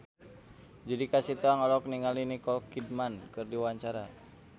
Judika Sitohang olohok ningali Nicole Kidman keur diwawancara